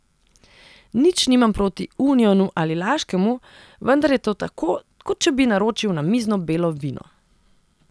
Nič nimam proti unionu ali laškemu, vendar je to tako, kot če bi naročil namizno belo vino.